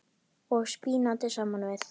og spínati saman við.